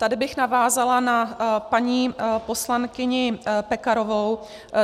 Tady bych navázala na paní poslankyni Pekarovou.